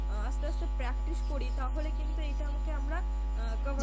আসতে আসতে practice করি তাহলে কিন্তু এইটা আমাকে আমরা আহ cover